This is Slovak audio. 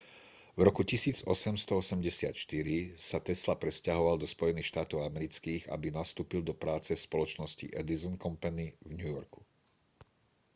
v roku 1884 sa tesla presťahoval do spojených štátov amerických aby nastúpil do práce v spoločnosti edison company v new yorku